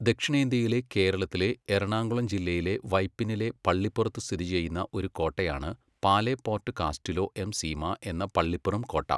ദക്ഷിണേന്ത്യയിലെ കേരളത്തിലെ എറണാകുളം ജില്ലയിലെ വൈപ്പിനിലെ പള്ളിപ്പുറത്ത് സ്ഥിതിചെയ്യുന്ന ഒരു കോട്ടയാണ് പാലെപ്പോർട്ട് കാസ്റ്റിലോ എം സീമ എന്ന പള്ളിപ്പുറം കോട്ട.